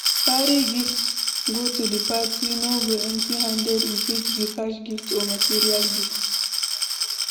Carry gift go the parti no go empty handed e fit be cash gift or material gift